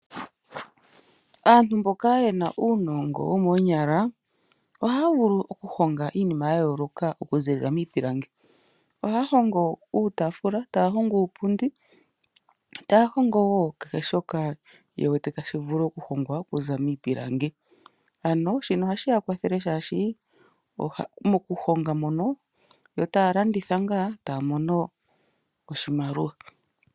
Aantu mboka yena unongo wokenyala ohaya vulu okuhonga iinima yayoloka okuzilila mipilangi, ohaya hongo utafula taya hongo upundi, taya hongo wo keheshoka yewete tashi vulu okuhongwa okuza mipilangi, ano shino ohashi ya kwathele shashi mokuyonga mono yo talanditha nga tamono oshimaliwa.